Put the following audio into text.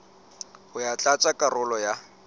ho ya tlatsa karolo ya